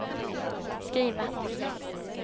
skriva